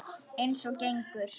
Eins og gengur.